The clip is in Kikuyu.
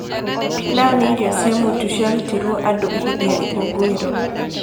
Pilau nĩ irio cia mũtu ciarutĩrũo andũ hĩndĩ ya ikũngũĩro.